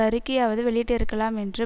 அறிக்கையாவது வெளியிட்டிருக்கலாம் என்று